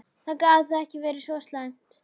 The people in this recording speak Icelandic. Það gat þá ekki verið svo slæmt.